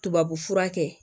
Tubabufura kɛ